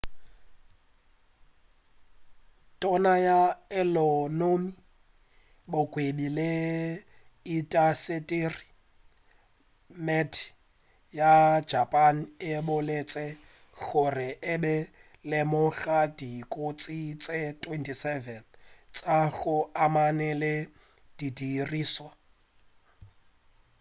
tona ya ekonomi bogwebi le intasiteri meti ya japan e boletše gore e be e lemoga dikotsi tše 27 tša go amana le didirišwa